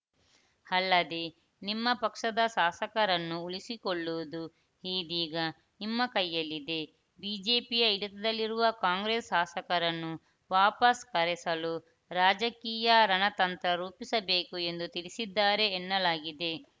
ಅಲ್ಲದೇ ನಿಮ್ಮ ಪಕ್ಷದ ಶಾಸಕರನ್ನು ಉಳಿಸಿಕೊಳ್ಳುವುದು ಈ ದೀಗ ನಿಮ್ಮ ಕೈಯಲ್ಲಿದೆ ಬಿಜೆಪಿಯ ಹಿಡಿತದಲ್ಲಿರುವ ಕಾಂಗ್ರೆಸ್‌ ಶಾಸಕರನ್ನು ವಾಪಸ್‌ ಕರೆಸಲು ರಾಜಕೀಯ ರಣತಂತ್ರ ರೂಪಿಸಬೇಕು ಎಂದು ತಿಳಿಸಿದ್ದಾರೆ ಎನ್ನಲಾಗಿದೆ